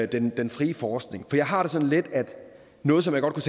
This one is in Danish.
den den frie forskning jeg har det sådan lidt at noget som jeg godt